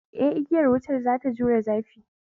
Eh, igiyar wutar za ta jure zafi